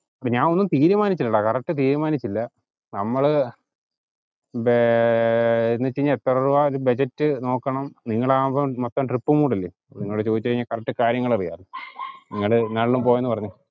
ഇപ്പം ഞാൻ ഒന്നും തീരുമാനിച്ചില്ലെടാ correct തീരുമാനിച്ചില്ല. നമ്മള് എന്ന് വെച്ച് കഴിഞ്ഞാ എത്ര രൂപ budget എന്ന് നോക്കണം നിങ്ങൾ ആകുമ്പം മൊത്തം trip കൂടെ അല്ലെ. നിങ്ങൾ ചോദിച്ചു കഴിഞ്ഞാ correct കാര്യങ്ങൾ അറിയാമല്ലോ. നിങ്ങൾ ഇന്നാളിലും പോയെന്നു പറഞ്ഞതല്ലേ